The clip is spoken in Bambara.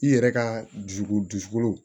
I yɛrɛ ka dusukolo du dusukolo